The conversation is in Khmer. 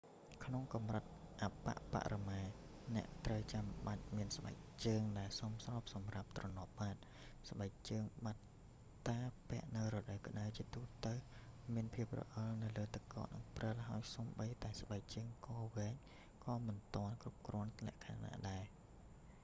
ក្នុងកម្រិតអប្បបរមា អ្នកត្រូវចាំបាច់មានស្បែកជើងដែលសមស្របសម្រាប់ទ្រនាប់បាត ស្បែកជើងបាត់តាពាក់នៅរដូវក្ដៅ ជាទូទៅមានភាពរអិលនៅលើទឹកកកនិងព្រិល ហើយសូម្បីតែស្បែកជើងកវែង ក៏មិនទាន់គ្រប់លក្ខណៈដែរ